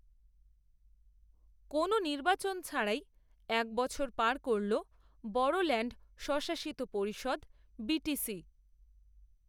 কোনও নির্বাচন ছাড়াই, এক বছর পার করল, বড়োল্যাণ্ড স্বশাসিত পরিষদ, বিটিসি